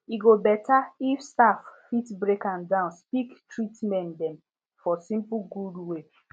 e go beta if staff fit break am down speak treatmen dem for simple good way